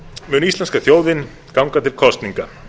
mun íslenska þjóðin ganga til kosninga